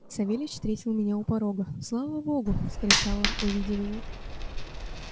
савельич встретил меня у порога слава богу вскричал он увидя меня